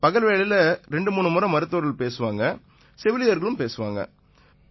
பகல் வேளையில 23 முறை மருத்துவர்கள் பேசுவாங்க செவிலியர்கள் பேசுவாங்க